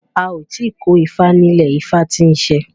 A ò ti ko ifá nílẹ̀ ifá tí ń ṣe